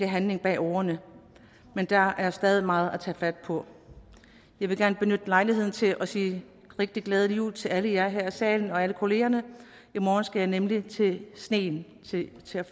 handling bag ordene men der er stadig meget at tage fat på jeg vil gerne benytte lejligheden til at sige rigtig glædelig jul til alle jer her i salen og alle kollegaerne i morgen skal jeg nemlig tilbage til sneen